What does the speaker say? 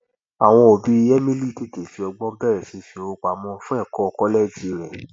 àwọn òbí emily tètè fi ọgbọn bẹrẹ sí í fi owó pamọ fún ẹkọ kọlẹẹjì rẹ